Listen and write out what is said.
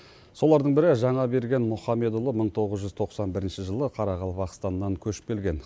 солардың бірі жаңаберген мұхамедұлы мың тоғыз жүз тоқсан бірінші жылы қарақалпақстаннан көшіп келген